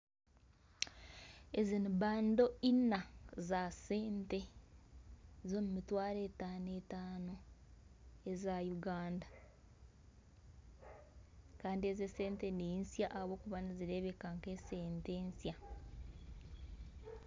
Ezi ni bando ina za sente z'omumitwaro etaano etaano eza Uganda Kandi ezi esente ninsya ahabwokuba nizirebeka nkesente nsya .